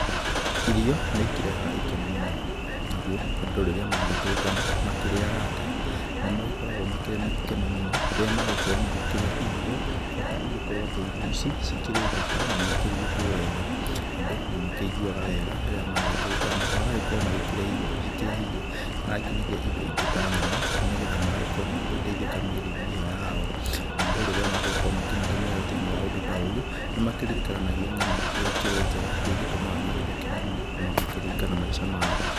Irio nĩikĩrehaga ikeno mũno, naguo andũ rĩrĩa magĩtũngana makĩrĩ arata nĩmagĩkoragwo makĩrĩ na gĩkeno mũno, rĩrĩa magũkorwo magĩkĩrĩa irio, bata igĩkorwo atĩ irio ici cikĩrĩ thaka, na nĩ ikĩrugĩtwo wega. Andũ nĩmakĩiguaga wega rĩrĩa magĩtũngana, magagĩkorwo magĩkĩrĩa irio cikĩrĩ hihi na nginyagia indo ingĩ ta nyama, nĩ getha magagĩkorwo magĩgĩteithĩka mĩĩrĩ-inĩ ĩyo yao. Andũ rĩrĩa magũgĩkorwo makĩnyitanĩra thĩ-inĩ wa ũndũ ta ũyũ nĩmakĩririkananagia ng'ano iria ĩkĩrĩ njega, iria igĩtumaga magĩtheke mũno, na magakĩririkana maica mao.